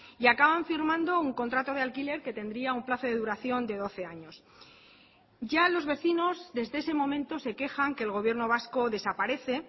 y acaban firmando un contrato de alquiler que tendría un plazo de duración de doce años ya los vecinos desde ese momento se quejan que el gobierno vasco desaparece